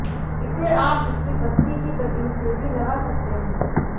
इसे आप इसकी पत्ती की कटिंग से भी लगा सकते हैं